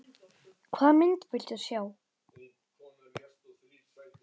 Hvaða mynd viltu sjá?